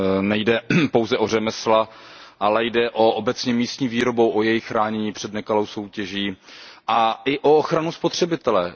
Nejde pouze o řemesla, ale jde obecně o místní výrobu, o její chránění před nekalou soutěží a i o ochranu spotřebitele.